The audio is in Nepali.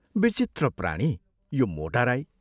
विचित्र प्राणी यो मोटा राई!